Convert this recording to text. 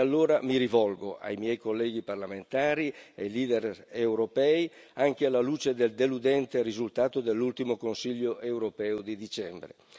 E allora mi rivolgo ai miei colleghi parlamentari, ai leader europei, anche alla luce del deludente risultato dell'ultimo Consiglio europeo di dicembre.